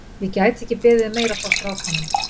Ég gæti ekki beðið um meira frá strákunum.